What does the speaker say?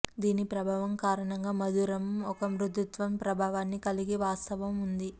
దీని ప్రభావం కారణంగా మధురము ఒక మృదుత్వం ప్రభావాన్ని కలిగి వాస్తవం ఉంది